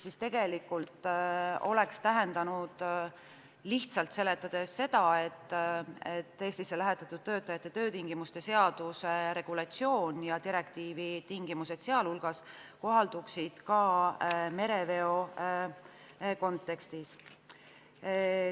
See oleks tähendanud lihtsalt seletades seda, et Eestisse lähetatud töötajate töötingimuste seaduse regulatsioon ja direktiivi tingimused sealhulgas kohalduksid ka mereveol.